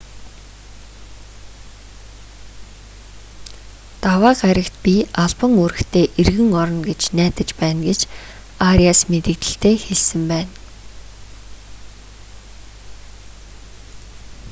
даваа гарагт би албан үүрэгтээ эргэн орно гэж найдаж байна гэж ариас мэдэгдэлдээ хэлсэн байна